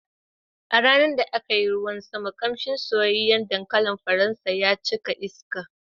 A ranar da aka yi ruwan sama, ƙamshin soyayyen dankalin faransa ya cika iska.